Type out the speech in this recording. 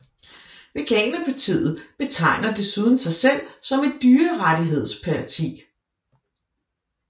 Veganerpartiet betegner desuden sig selv som et dyrerettighedsparti